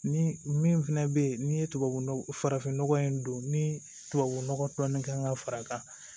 Ni min fɛnɛ bɛ yen ni ye tubabu nɔgɔ farafin nɔgɔ in don ni tubabu nɔgɔ dɔɔn kan ka fara